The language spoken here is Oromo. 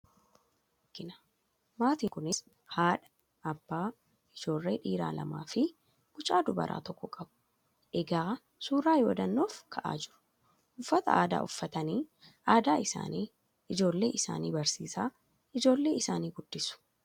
Maatii tokko argina maatin kunis haadha , abbaa, ijoollee dhiiraa lamaafi mucaa durbaa tokko qabu egaa suuraa yaadannoof kahaa jiru uffata aadaa uffatanii aadaa isaanii ijoollee barsiisaa ijoollee isaani guddisu.